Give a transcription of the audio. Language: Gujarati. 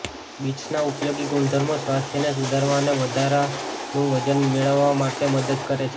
બીટ્સના ઉપયોગી ગુણધર્મો સ્વાસ્થ્યને સુધારવા અને વધારાનું વજન મેળવવા માટે મદદ કરે છે